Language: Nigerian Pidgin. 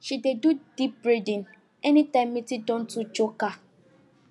she dey do deep breathing anytime meeting don too choke her